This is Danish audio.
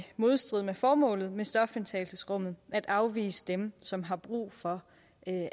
modstrid med formålet med stofindtagelsesrummene at afvise dem som har brug for